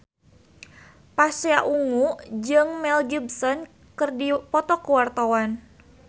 Pasha Ungu jeung Mel Gibson keur dipoto ku wartawan